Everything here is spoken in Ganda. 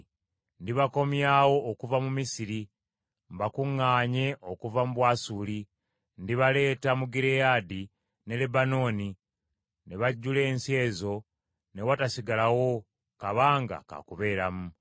Ndibakomyawo okuva mu Misiri, mbakuŋŋaanye okuva mu Bwasuli. Ndibaleeta mu Gireyaadi ne Lebanooni ne bajjula ensi ezo ne watasigalawo kabanga ka kubeeramu.